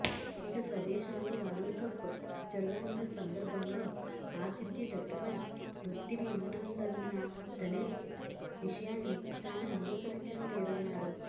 ఇక స్వదేశంలో వరల్డ్కప్ జరుగుతున్న సందర్భంలో ఆతిథ్య జట్టుపై ఒత్తిడి ఉంటుందన్నదనే విషయాన్ని తాను అంగీకరించడం లేదన్నాడు